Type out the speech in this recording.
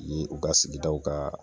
Yen ,u ka sigidaw ka